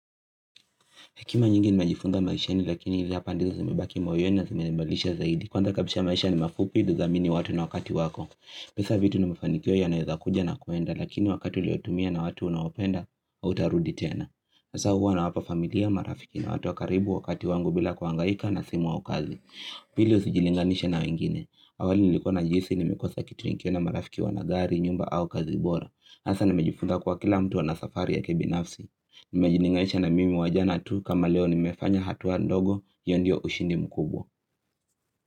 Hekima nyingi nimejifunga maishani lakini ili hapa ndizo zimibaki moyeni na zimenebalisha zaidi. Kwanza kabisha maisha ni mafupi unaeza amini watu na wakati wako. Pesa vitu nimefanikio yanaeza kuja na kwenda lakini wakati uliotumia na watu unawopenda hautarudi tena. Sasa huwa nawapa familia marafiki na watu wakaribu wakati wangu bila kuangaika na simu au kazi. Pili usijilinganisha na wengine. Awali nilikuwa najihisi ni mikosa kitu nikiwa na marafiki wana gari nyumba au kazi bora. Hasa nimejifuza kwa kila mtu ana safari ya kibinafsi. Nimejiningalisha na mimi wa jana tu kama leo nimefanya hatua ndogo hiyo ndio hushindi mkubwa.